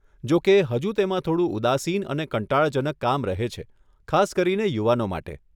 જોકે, હજુ તેમાં થોડું ઉદાસીન અને કંટાળાજનક કામ રહે છે, ખાસ કરીને યુવાનો માટે.